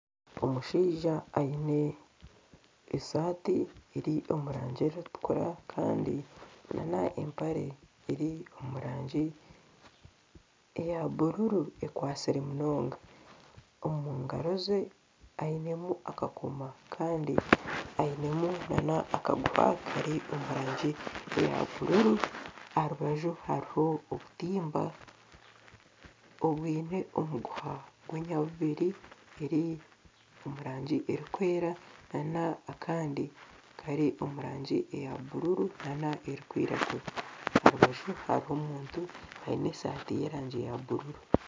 Omushaija aine esaati eri omu rangi erikutukura kandi n'empare eri omu rangi eya bururu ekwatsire munonga. Omu ngaro ze ainemu akakomo kandi ainemu n'akaguha kari omu rangi eya bururu. Aha rubaju hariho obutimba obwine omuguha gw'enyabubiri guri omu rangi erikwera n'akandi kari omu rangi eya bururu n'erikwiragura. Aha rubaju hariho omuntu aine esaati ey'erangi ya bururu.